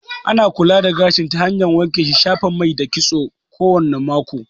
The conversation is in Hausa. Ana kula da gashi ta hanyar wanke shi, shafa mai da kitso kowane mako